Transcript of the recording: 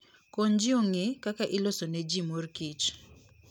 Kony ji ong'e kaka iloso ne ji mor kich.